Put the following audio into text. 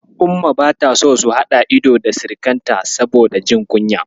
Umma bata so su haɗa ido da sirikinta saboda jin kunya.